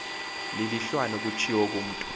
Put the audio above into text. lilulwane kutshiwo kumntu